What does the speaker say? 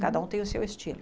Cada um tem o seu estilo.